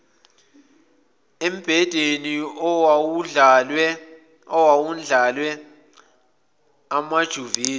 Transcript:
embhedeni owawundlalwe amaduvethi